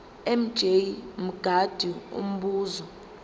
mj mngadi umbuzo